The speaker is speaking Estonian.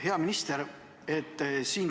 Hea minister!